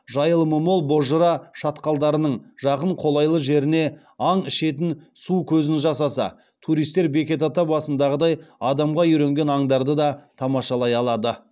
жайылымы мол бозжыра шатқалдарының жақын қолайлы жеріне аң ішетін су көзін жасаса туристер бекет ата басындағыдай адамға үйренген аңдарды да тамашалай алады